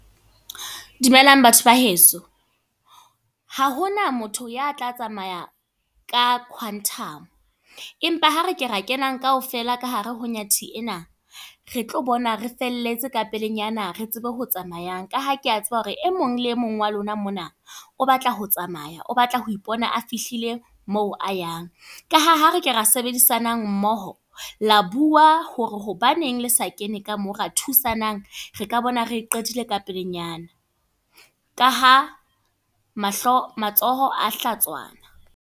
Dumelang batho ba heso. Ha hona motho ya tla tsamaya ka quantum. Empa ha re ke ra kenang kaofela ka hare ho nyathi ena. Re tlo bona re felletse ka pelenyana re tsebe ho tsamayang. Ka ha ke a tseba hore e mong le mong wa lona mona o batla ho tsamaya, o batla ho ipona a fihlile moo a yang. Ka ha ha re ka ra sebedisanang mmoho. La bua hore hobaneng le sa kene ka mo ra thusanang. Re ka bona re qetile ka pelenyana. Ka ha mahlo, matsoho a hlatswana.